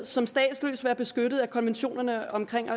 som statsløs være beskyttet af konventionen omkring